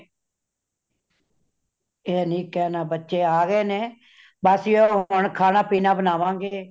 ਇਹ ਨਹੀਂ ਕੇਨਾ , ਬੱਚੇ ਆਗਏ ਨੇ ਬੱਸ ਇਹੋ ਹੁਣ ਖਾਣਾ ਪੀਣਾ ਬਣਾਵਾਂਗੇ